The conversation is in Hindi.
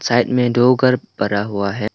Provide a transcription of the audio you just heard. साइड में दो घर बरा हुआ है।